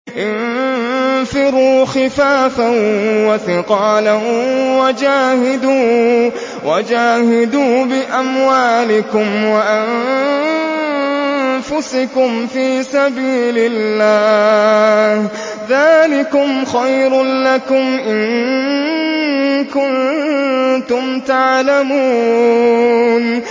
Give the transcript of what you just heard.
انفِرُوا خِفَافًا وَثِقَالًا وَجَاهِدُوا بِأَمْوَالِكُمْ وَأَنفُسِكُمْ فِي سَبِيلِ اللَّهِ ۚ ذَٰلِكُمْ خَيْرٌ لَّكُمْ إِن كُنتُمْ تَعْلَمُونَ